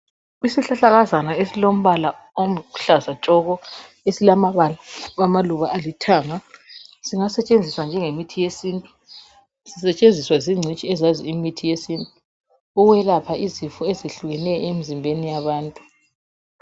Isihlahlakazana esilombala oluhlaza tshoko esilamaluba alithanga. Singasetshenziswa njengemithi yesintu. Sisetshenziswa zingcitshi ezazi imithi yesintu, ukwelapha izifo ezihlukeneyo emzimbeni yabantu.